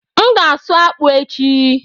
M ga-asụ akpụ echi.